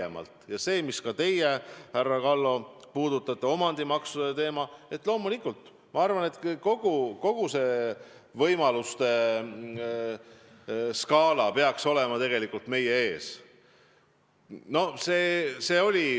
Loomulikult ka see, mida teie, härra Kallo, puudutate, omandimaksude teema, ja kogu see võimaluste skaala, peaks olema meie ees.